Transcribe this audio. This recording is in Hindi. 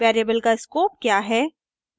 वेरिएबल का स्कोप क्या है